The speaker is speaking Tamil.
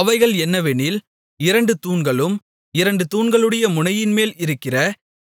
அவைகள் என்னவெனில் இரண்டு தூண்களும் இரண்டு தூண்களுடைய முனையின்மேல் இருக்கிற